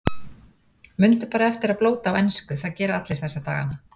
Mundu bara eftir að blóta á ensku, það gera allir þessa dagana.